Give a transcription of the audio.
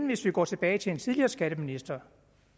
hvis vi går tilbage til en tidligere skatteminister